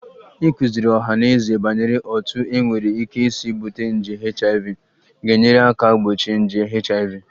Ịkụziri ọha na eze banyere otú e nwere ike isi bute nje HIV ga-enyere aka gbochie nje HIV